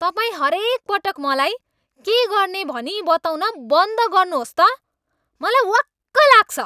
तपाईँ हरेकपल्ट मलाई के गर्ने भनी बताउन बन्द गर्नुहोस् त। मलाई वाक्क लाग्छ।